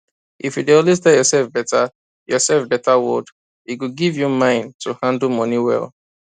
if you dey always tell yourself better yourself better word e go give you mind to handle money well